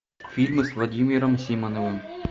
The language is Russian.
фильмы с владимиром симоновым